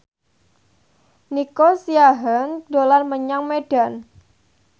Nico Siahaan dolan menyang Medan